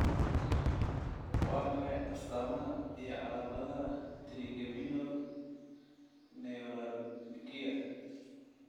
Waa maxay astamaha iyo calaamadaha trigeminal neuralgia?